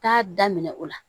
Taa daminɛ o la